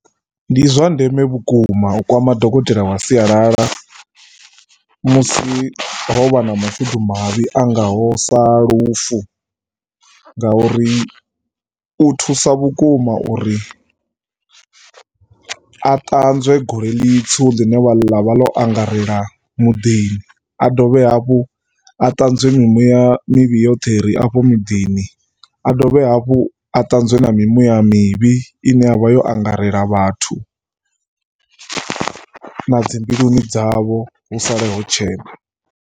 Ndi zwa ndeme vhukuma u kwama dokotela wa sialala musi ho vha na mashudumavhi a ngaho sa lufu ngauri u thusa vhukuma uri a ṱanzwe gole ḽitswu ḽine ḽa vha ḽo angarela muḓini. A dovhe hafhu, ṱanzwe mimuya mivhi yoṱhe i re afho muḓini, a ṱanzwe na mimuya mivhi i ne ya vha yo angarela vhathu na dzi mbiluni dzavho hu sale ho tshena.